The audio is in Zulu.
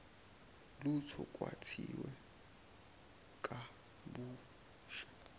lutho kwakhiwe kabusha